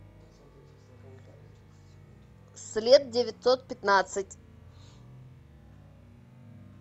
след девятьсот пятнадцать